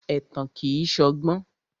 Ẹ̀tàn kìí ṣọgbọ́n.